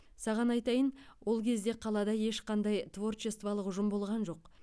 саған айтайын ол кезде қалада ешқандай творчестволық ұжым болған жоқ